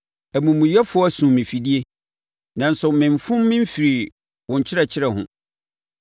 Amumuyɛfoɔ asum me afidie nanso memfom memfirii wo nkyerɛkyerɛ ho.